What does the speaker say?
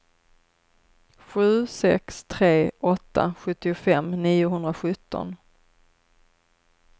sju sex tre åtta sjuttiofem niohundrasjutton